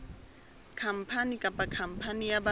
khampani kapa khampani ya ba